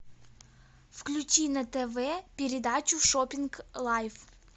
включи на тв передачу шоппинг лайф